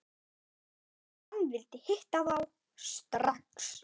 Hann vildi hitta þá strax.